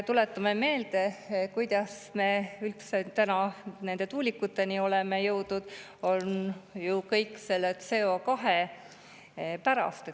Tuletame meelde, kuidas me üldse tuulikuteni oleme jõudnud – kõik on ju CO2 pärast.